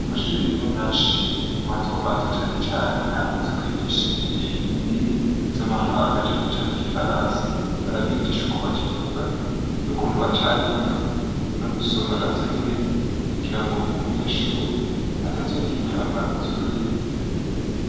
Amashuri rero menshi, matomato cane cane, arakunze kwigisha indimi z'amahanga cane cane Igifaransa barabigisha uko bakivuga n'ukuntu bacandika; no gusoma na vyo nyene kugira ngo umunyeshuri atazogira intambamyi z'ururimi.